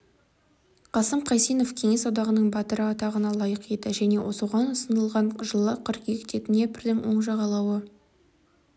қасым қайсенов кеңес одағының батыры атағына лайық еді және соған ұсынылған жылы қыркүйекте днепрдің оң жағалауы